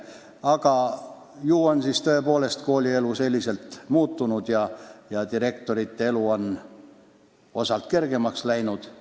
Ent ju on siis tõepoolest koolielu selliselt muutunud ja direktorite elu on osalt kergemaks läinud.